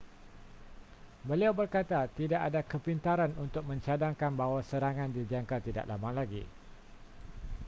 beliau berkata tidak ada kepintaran untuk mencadangkan bahawa serangan dijangka tidak lama lagi